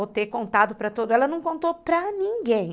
Ou ter contado para todo... Ela não contou para ninguém.